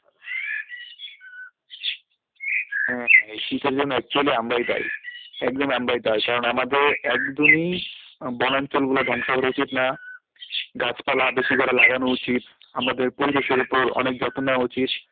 হ্যাঁ, হ্যাঁ এই শীতের জন্যে actually আমরাই দায়ী একদমই আমরাই দায়ী কারণ আমাদের একদমই আহ বনাঞ্চল গুলো ধ্বংস করা উচিত না গাছপালা বেশি করে লাগানো উচিত আমাদের পরিবেশের উপর অনেক যত্ন নেওয়া উচিত,